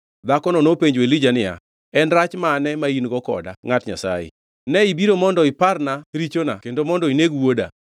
Dhakono nopenjo Elija niya, “En rach mane ma in-go koda, ngʼat Nyasaye? Ne ibiro mondo iparna richona kendo mondo ineg wuoda?”